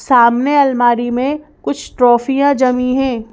सामने अलमारी में कुछ ट्रॉफियां जमी हैं।